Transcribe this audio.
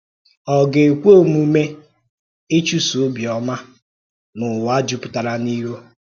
Ọ̀ gà-ekwe omume ịchụ́sò ọ̀bịọ́mà n’ụ̀wà jùpùtàrà n’író?